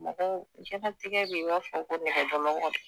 Mɔgɔw diɲɛnatigɛ bɛ i b'a fɔ ko nɛgɛjɔlɔkɔ de.